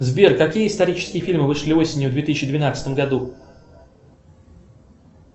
сбер какие исторические фильмы вышли осенью в две тысячи двенадцатом году